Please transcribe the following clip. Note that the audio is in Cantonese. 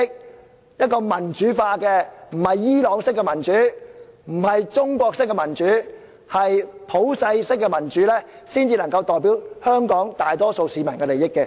只有立法會民主化，不是伊朗式的民主，不是中國式的民主，而是普世式的民主，才能夠代表香港大多數市民的利益。